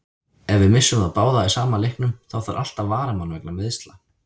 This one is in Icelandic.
Ef við missum þá báða í sama leiknum, þá þarf alltaf varamann vegna meiðsla.